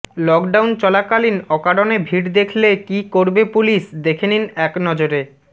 lockdown চলা কালিন অকারনে ভিড় দেখলে কি করবে পুলিশ দেখেনিন একনজরে